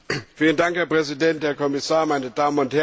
Herr Präsident, Herr Kommissar, meine Damen und Herren!